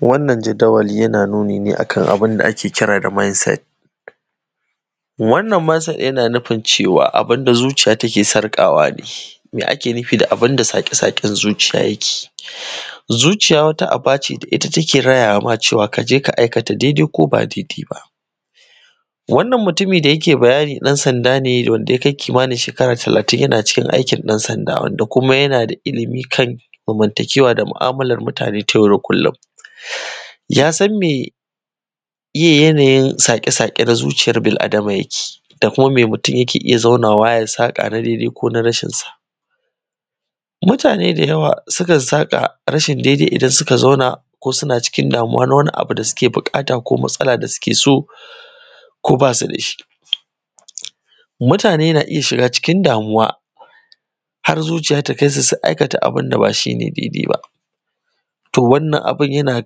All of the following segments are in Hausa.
wannan jadawali yana nuni ne akan abunda ake kira da mindset wannan mindset yana nufin cewa abunda zuciya ta ke sarƙawa ne me ake nufi da abunda saƙe-saƙen zuciya yake zuciya wata aba ce da ita take rayawa ma cewa ka je ka aikata dai-dai ko ba dai-dai ba wannan mutumi da yake bayani ɗan-sanda ne wanda ya kai kimanin shekara talatin yana cikin aikin ɗan-sanda da kuma yana da ilmi kan zamantakewa da mu’amalar mutane ta yau da kullum ya san meye yanayin saƙe-saƙe na zuciyar bil-adama yake da kuma me mutum yake zaunawa ya saka na daidai ko na rashin sa mutane da yawa su kan saƙa rashin dai-dai idan suka zauna ko suna cikin damuwa na wani abu da suke buƙata ko matsala da suke so ko basu da shi mutane na iya shiga cikin damuwa har zuciya ta kai su ga aika abunda ba shi ne dai-dai ba toh wannan abun yana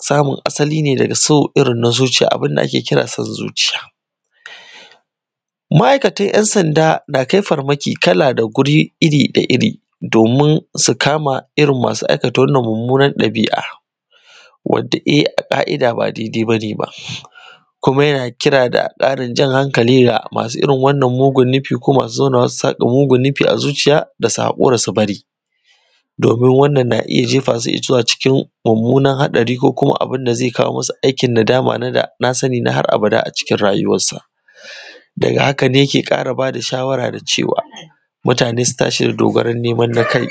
samun asali ne daga so irin na zuciya abunda ake kira son zuciya ma’aikatan ‘yan-sanda na kai farmaki kala da guri iri da iri domin su kama irin masu aikata wannan mummunar ɗabi’a wanda ƙa’ida ba dai-dai ba ne ba kuma yana kira da ƙarin jan hankali ga masu irin wannan mugun nufin ko masu zaunawa su saƙa mugun nufi a zuciya da su hakura su bari domin wannan na iya jefa su zuwa cikin mummunan haɗari ko kuma abunda zai kawo masu aikin nadama da dana sani na har abada a cikin rayuwar sa daga haka ne yake ƙara bada shawara da cewa mutane su tashi da dogaron ne